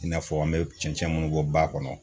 I n'a fɔ an mɛ cɛncɛn munnu bɔ ba kɔnɔ.